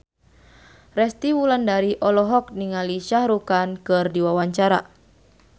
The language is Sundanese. Resty Wulandari olohok ningali Shah Rukh Khan keur diwawancara